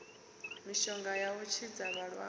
mishonga ya u tshidza vhalaxwa